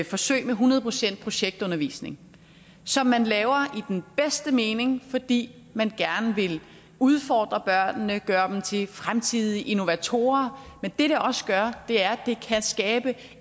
forsøg med hundrede procent projektundervisning som man laver i den bedste mening fordi man gerne vil udfordre børnene gøre dem til fremtidige innovatorer men det det også gør er at det kan skabe